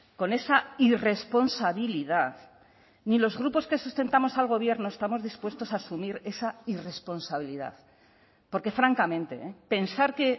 con esa irresponsabilidad ni los grupos que sustentamos al gobierno estamos dispuestos a asumir esa irresponsabilidad porque francamente pensar que